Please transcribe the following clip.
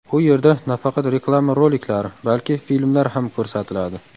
U yerda nafaqat reklama roliklari, balki filmlar ham ko‘rsatiladi.